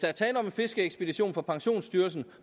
er tale om en fiskeekspedition fra pensionsstyrelsen